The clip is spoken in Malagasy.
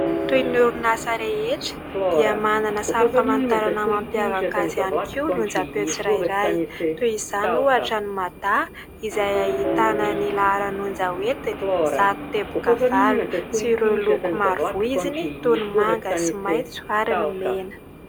Toy ny orinasa rehetra dia manana sary famantarana mampiavaka azy ihany koa ny onja-peo tsirairay, toy izany ohatra ny "Mada" izay ahitana ny laharan'onja entiny ; zato teboka valo sy ireo loko maro voiziny toy ny manga sy maitso ary ny mena.